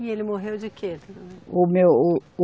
E ele morreu de quê? O meu, o